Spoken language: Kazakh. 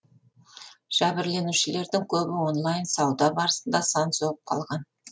жәбірленушілердің көбі онлайн сауда барысында сан соғып қалған